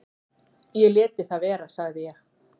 """Ég léti það vera, sagði ég."""